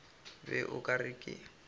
be o ka re ke